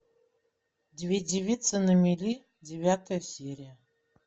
две девицы на мели девятая серия